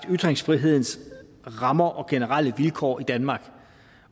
ytringsfrihedens rammer og generelle vilkår i danmark